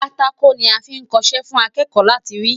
Pátákò ni a fí ń kọṣẹ́ fún akẹ́kọ̀ọ́ láti rí.